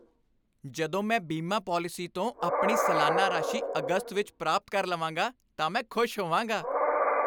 ਜਦੋਂ ਮੈਂ ਬੀਮਾ ਪਾਲਿਸੀ ਤੋਂ ਆਪਣੀ ਸਾਲਾਨਾ ਰਾਸ਼ੀ ਅਗਸਤ ਵਿੱਚ ਪ੍ਰਾਪਤ ਕਰ ਲਵਾਂਗਾ ਤਾਂ ਮੈਂ ਖੁਸ਼ ਹੋਵਾਂਗਾ।